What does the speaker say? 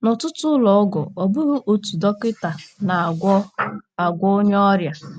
N’ọtụtụ ụlọ ọgwụ, ọ bụghị otu dọkịta na - agwọ agwọ onye ọrịa.